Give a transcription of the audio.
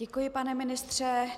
Děkuji, pane ministře.